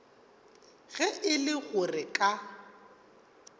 ge e le gore ka